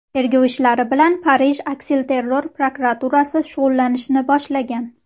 Tergov ishlari bilan Parij aksilterror prokuraturasi shug‘ullanishni boshlagan.